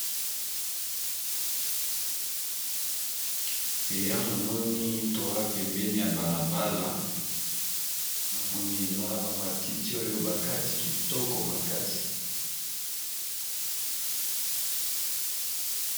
Awa namoni toa pembeni ya bala bala na moni eza na ba matiti oyo bakati kitoko makasi.